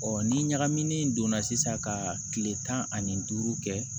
ni ɲagamini don na sisan ka kile tan ani duuru kɛ